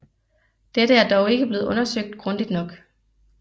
Dette er dog ikke blevet undersøgt grundigt nok